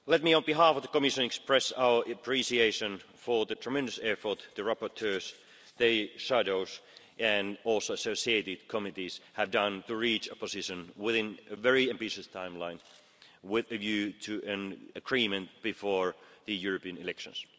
On behalf of the Commission, let me express our appreciation for the tremendous effort the rapporteurs, the shadows and also associated committees have done to reach a position within a very ambitious timeline with a view to an agreement before the European elections.